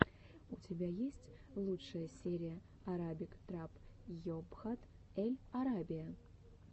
у тебя есть лучшая серия арабик трап йобхат эль арабия